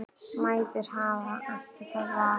Mæður hafa ekki það val.